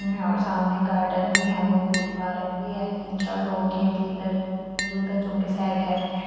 और सामने गार्डन भी है बहुत बड़ी पार्क भी है तीन चार लोग हैं बेघर हैं मौजूद है जो कि सैर कर रहे हैं।